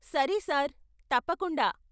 సరే సార్, తప్పకుండా.